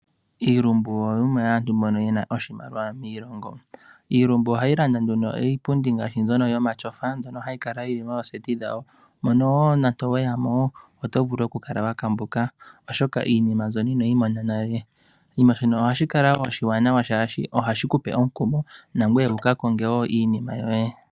Iilumbu oyo yimwe yomaantu mbono yena oshimaliwa miilongo. Iilumbu ohayi landa nduno iipundi ngaashi mbyono yomatyofa mbyono hayi kala yili mooseti dhawo mono nande oweyamo otovulu okukala wa kambuka oshoka iinima mbyono inoyi mona nale shono ohashi kala oshiwanawa oshoka ohashi kupe omukumo nangoye wu kakonge woo iinima yoye.